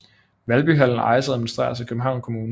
Valby Hallen ejes og administreres af Københavns Kommune